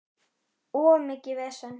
Of mikið vesen.